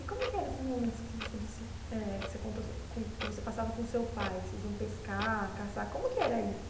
E como que eram esses momentos que você disse eg que você conta com que você passava com seu pai, que vocês iam pescar, caçar, como que era isso?